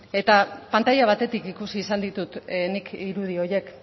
eta pantaila batetik ikusi izan ditut nik irudi horiek